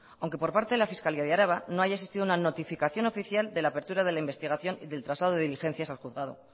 aunque por parte de la fiscalía de araba no haya existido una notificación oficial de la apertura de la investigación y del traslado de diligencias del juzgado